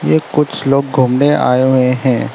एक कुछ लोग घूमने आए हुए हैं।